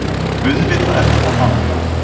AUÐVITAÐ ER ÞETTA HANN.